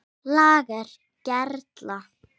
LAGER GERLA